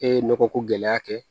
E ye nɔgɔ ko gɛlɛya kɛ